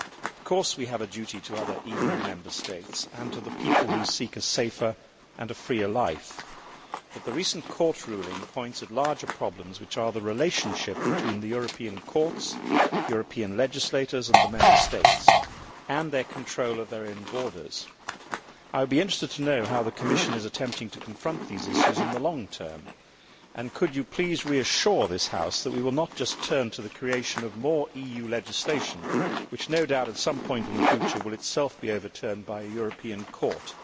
Of course, we have a duty to other EU Member States and to people seeking a safer and a freer life, but the recent Court ruling points at larger problems, which are the relationship between the European courts, European legislators and the Member States and their control of their own borders. Commissioner, I would be interested to know how the Commission is attempting to confront these issues in the long term. Could you please reassure this House that we will not just turn to the creation of more EU legislation, which no doubt at some point in the future will itself be overturned by a European court,